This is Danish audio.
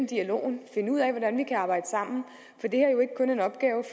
dialogen og finde ud af hvordan vi kan arbejde sammen